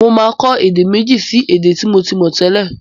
Mo máa kọ́ èdè méji sí èdè tí mo ti mọ̀ tẹ́lẹ̀.